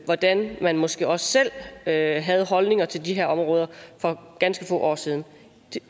hvordan man måske også selv havde havde holdninger til de her områder for ganske få år siden